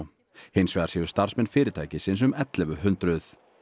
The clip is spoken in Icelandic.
hins vegar séu starfsmenn fyrirtækisins um ellefu hundruð